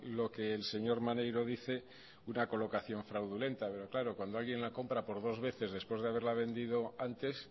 lo que el señor maneiro dice una colocación fraudulenta pero claro cuando alguien la compra por dos veces después de haberla vendido antes